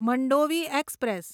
Mandovi express